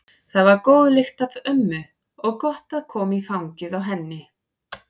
Það var góð lykt af ömmu og gott að koma í fangið á henni.